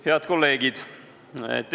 Head kolleegid!